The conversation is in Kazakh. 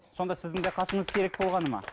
сонда сіздің де қасыңыз сирек болғаны ма